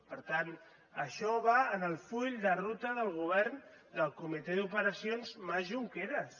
per tant això va en el full de ruta del govern del comitè d’operacions mas junqueras